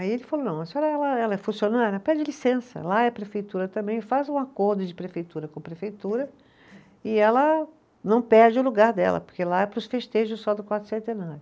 Aí ele falou, não, ela é funcionária, pede licença, lá é prefeitura também, faz um acordo de prefeitura com prefeitura, e ela não perde o lugar dela, porque lá é para os festejos só do